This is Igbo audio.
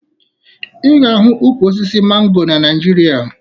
Ị ga-ahụ ukwu osisi mango na Naịjirịa